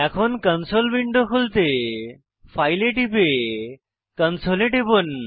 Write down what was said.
এখন console window খুলতে file এ টিপে কনসোল এ টিপুন